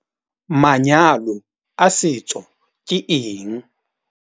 Manyalo a setso ke eng?